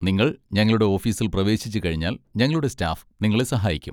നിങ്ങൾ ഞങ്ങളുടെ ഓഫീസിൽ പ്രവേശിച്ചുകഴിഞ്ഞാൽ ഞങ്ങളുടെ സ്റ്റാഫ് നിങ്ങളെ സഹായിക്കും.